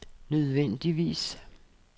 nødvendigvis